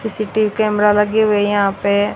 CCTV camera लगे हुए है यहां पे।